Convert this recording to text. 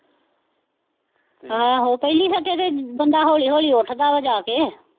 ਆਹੋ ਪਹਿਲੀ ਸੱਟੇ ਤੇ ਬੰਦਾ ਹੌਲੀ ਹੌਲੀ ਉੱਠਦਾ ਵਾ ਜਾ ਕੇ